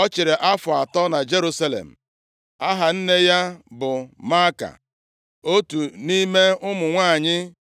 Ọ chịrị afọ atọ na Jerusalem. Aha nne ya bụ Maaka, + 13:2 Maọbụ, Mịkaya otu nʼime ụmụ nwanyị + 13:2 Maọbụ, nwa